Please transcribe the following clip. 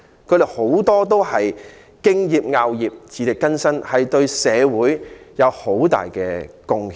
他們很多都敬業樂業，自力更生，對社會有很大貢獻。